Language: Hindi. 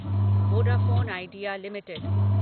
Vodafone Idea limited